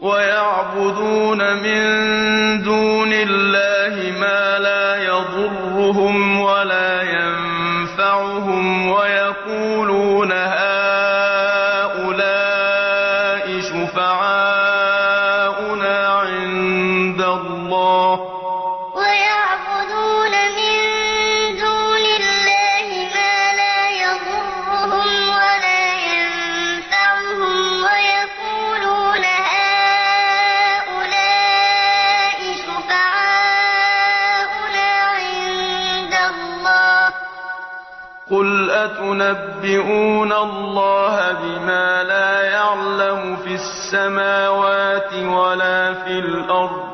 وَيَعْبُدُونَ مِن دُونِ اللَّهِ مَا لَا يَضُرُّهُمْ وَلَا يَنفَعُهُمْ وَيَقُولُونَ هَٰؤُلَاءِ شُفَعَاؤُنَا عِندَ اللَّهِ ۚ قُلْ أَتُنَبِّئُونَ اللَّهَ بِمَا لَا يَعْلَمُ فِي السَّمَاوَاتِ وَلَا فِي الْأَرْضِ